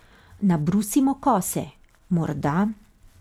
Nabrusimo kose, morda ...